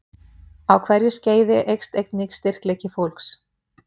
Á hverju skeiði eykst einnig styrkleiki fólks.